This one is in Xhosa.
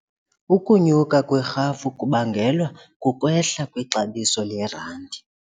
Ukunyuka kwerhafu kubangelwa kukwehla kwexabiso lerandi.